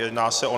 Jedná se o